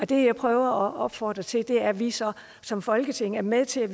det jeg prøver at opfordre til er at vi så som folketing er med til